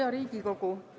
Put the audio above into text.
Hea Riigikogu!